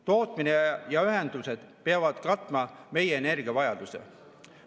Tootmine ja ühendused peavad katma meie energiavajaduse.